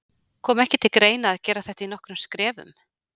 Kom ekki til greina að gera þetta í nokkrum skrefum?